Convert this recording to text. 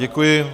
Děkuji.